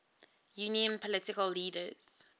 union political leaders